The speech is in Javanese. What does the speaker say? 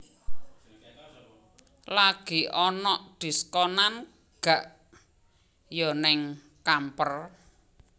Lagi onok diskonan gak yo nang Camper?